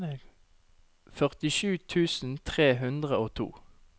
førtisju tusen tre hundre og to